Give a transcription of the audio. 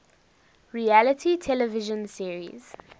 reality television series